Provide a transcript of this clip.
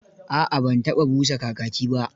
A'a ban taɓa busa kakaki ba.